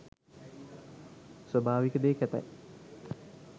ස්වාභාවික දේ කැතයි